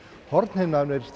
hornhimnan er